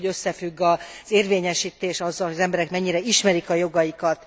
Tudjuk, hogy összefügg az érvényesítés azzal, hogy az emberek mennyire ismerik a jogaikat.